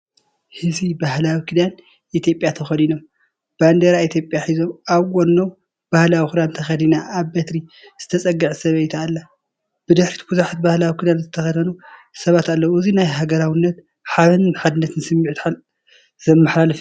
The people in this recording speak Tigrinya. ህዝቢ ባህላዊ ክዳን ኢትዮጵያ ተኸዲኖም፣ ባንዴራ ኢትዮጵያ ሒዞም፡ ኣብ ጎድኖም ባህላዊ ክዳን ተኸዲና ኣብ በትሪ ዝተጸግዐት ሰበይቲ ኣላ። ብድሕሪት ብዙሓት ባህላዊ ክዳን ዝተኸድኑ ሰባት ኣለዉ። እዚ ናይ ሃገራውነትን ሓበንን ሓድነትን ስምዒት ዘመሓላልፍ እዩ።